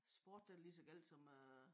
Sport den er lige som gal som øh